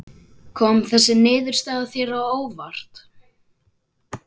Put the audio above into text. Kom þessi niðurstaða þér á óvart?